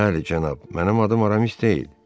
Bəli, cənab, mənim adım Aramis deyil.